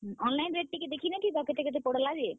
Online rate ଟିକେ ଦେଖି ନାଇ ଥିତ କେତେ, କେତେ ପଡ୍ ଲା ଯେ?